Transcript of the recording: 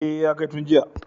E, ya kai tun jiya.